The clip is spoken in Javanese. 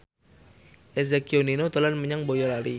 Eza Gionino dolan menyang Boyolali